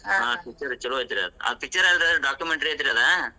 ಹಾ picture ಚುಲೊ ಐತ್ರಿ ಆದ್ ಆ picture ಏನ್ರಿ documentary ಐತ್ರಿ ಆದ್.